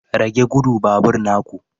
Rage gudu babur na ku.